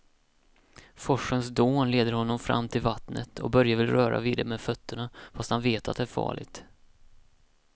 Forsens dån leder honom fram till vattnet och Börje vill röra vid det med fötterna, fast han vet att det är farligt.